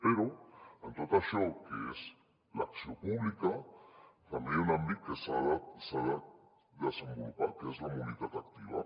però en tot això que és l’acció pública també hi ha un àmbit que s’ha de desenvolupar que és la mobilitat activa